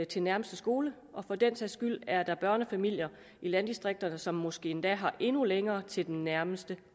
til nærmeste skole og for den sags skyld er der børnefamilier i landdistrikterne som måske endda har endnu længere til den nærmeste